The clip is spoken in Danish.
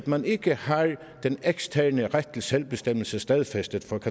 man ikke har den eksterne ret til selvbestemmelse stadfæstet